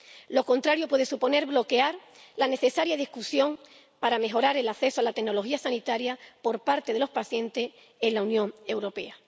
Lo contrario puede suponer bloquear la necesaria discusión para mejorar el acceso a la tecnología sanitaria por parte de los pacientes en la Unión Europea.